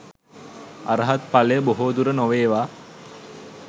අරහත් ඵලය බොහෝදුර නොවේවා